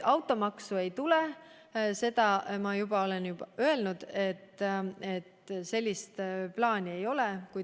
Automaksu ei tule, ma olen juba öelnud, et sellist plaani ei ole.